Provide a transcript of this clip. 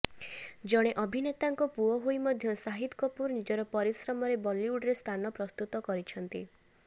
ଜଣେ ଅଭିନେତାଙ୍କ ପୁଅ ହୋଇ ମଧ୍ୟ ସାହିଦ କପୁର ନିଜର ପରିଶ୍ରମରେ ବଲିଉଡ଼ରେ ସ୍ଥାନ ପ୍ରସ୍ତୁତ କରିଛନ୍ତି